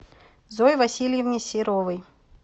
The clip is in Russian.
зое васильевне серовой